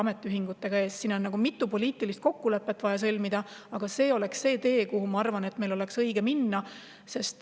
Meil on vaja sõlmida mitu poliitilist kokkulepet, aga see oleks tee, mida mööda, ma arvan, oleks õige minna.